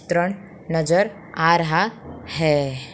त्रण नजर आ रहा है।